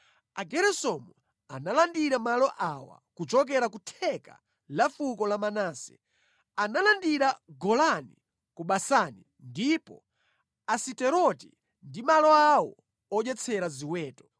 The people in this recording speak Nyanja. Ageresomu analandira malo awa: Kuchokera ku theka la fuko la Manase, analandira Golani ku Basani ndiponso Asiteroti, ndi malo awo odyetsera ziweto;